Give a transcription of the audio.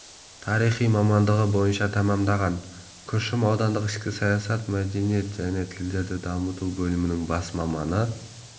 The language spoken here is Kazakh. тарихы мамандығы бойынша тәмамдаған күршім аудандық ішкі саясат мәдениет және тілдерді дамыту бөлімінің бас маманы